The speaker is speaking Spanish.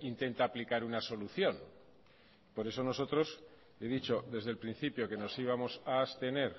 intenta aplicar una solución por eso nosotros he dicho desde el principio que nos íbamos a abstener